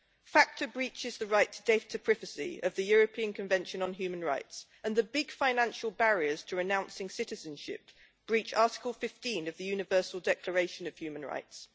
FATCA breaches the right to data privacy of the European Convention on Human Rights, and the big financial barriers to renouncing citizenship breach Article 15 of the Universal Declaration of Human Rights.